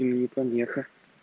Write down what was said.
им не помеха